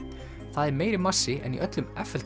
það er meiri massi en í öllum